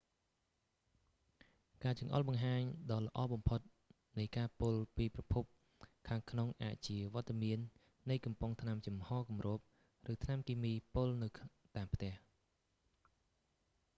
ការចង្អុលបង្ហាញដ៏ល្អបំផុតនៃការពុលពីប្រភពខាងក្នុងអាចជា វត្តមាននៃកំប៉ុងថ្នាំចំហគម្រប ឬថ្នាំគីមីពុលនៅតាមផ្ទះ